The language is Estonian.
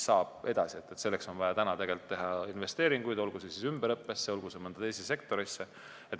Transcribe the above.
Selleks on vaja teha investeeringuid, olgu ümberõppesse või mõnda teise sektorisse.